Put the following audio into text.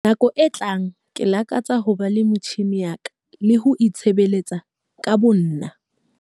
Nakong e tlang ke lakatsa ho ba le metjhine ya ka le ho itshebeletsa ka bonna.